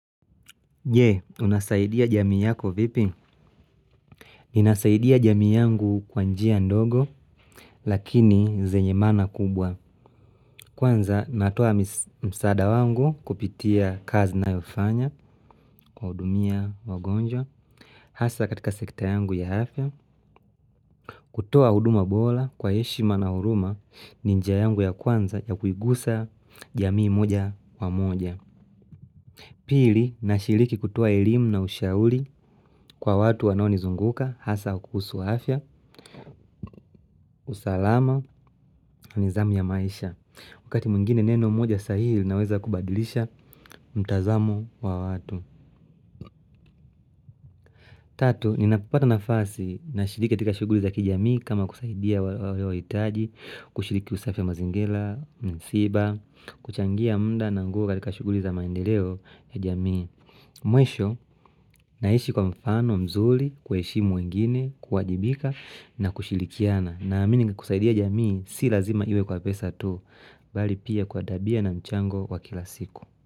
Je, unasaidia jamii yako vipi? Ninasaidia jamii yangu kwa njia ndogo, lakini zenye maana kubwa. Kwanza natoa msaada wangu kupitia kazi nayo fanya, kwa hudumia, wagonjwa, hasa katika sekta yangu ya afya. Kutoa huduma bola kwa yeshima na huruma, ni njia yangu ya kwanza ya kuigusa jamii moja wa moja. Pili, nashiriki kutoa elimu na ushauri kwa watu wanao nizunguka, hasa kuhusu afya, usalama na nidhamu ya maisha. Wakati mwingine neno moja sahihi linaweza kubadilisha mtazamo wa watu. Tatu, ninapopata nafasi nashiriki katika shuguli za kijamii kama kusaidia wale waitaji, kushiriki usafi ya mazingira, msiba, kuchangia muda na nguo katika shuguli za maendeleo ya jamii. Mwisho naishi kwa mfano mzuri, kuwaheshimu wingine, kuwajibika na kushilikiana Naamini kusaidia jamii si lazima iwe kwa pesa tu Bali pia kwa tabia na mchango wa kila siku.